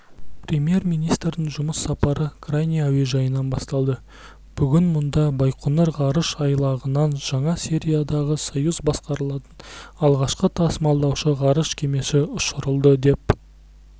премьер-министрдің жұмыс сапары крайний әуежайынан басталды бүгін мұнда байқоңыр ғарыш айлағынан жаңа сериядағы союз басқарылатын алғашқы тасымалдаушы ғарыш кемесі ұшырылды деп